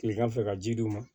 Kilegan fɛ ka ji d'u ma